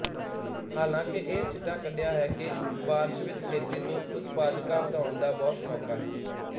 ਹਾਲਾਂਕਿ ਇਹ ਸਿੱਟਾ ਕੱਢਿਆ ਹੈ ਕਿ ਬਾਰਸ਼ਵਿਤ ਖੇਤੀ ਤੋਂ ਉਤਪਾਦਕਤਾ ਵਧਾਉਣ ਦਾ ਬਹੁਤ ਮੌਕਾ ਹੈ